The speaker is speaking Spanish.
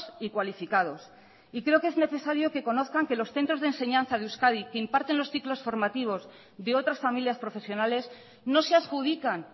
y cualificados y creo que es necesario que conozcan que los centros de enseñanza de euskadi que imparten los ciclos formativos de otras familias profesionales no se adjudican